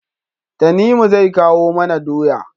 Tanimu zai kawo mana doya